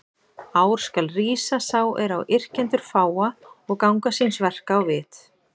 Ár skal rísa sá er á yrkjendur fáa, og ganga síns verka á vit.